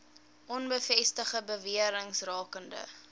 onbevestigde bewerings rakende